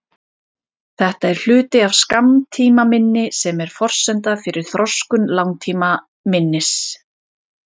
Þetta er hluti af skammtímaminni sem er forsenda fyrir þroskun langtímaminnis.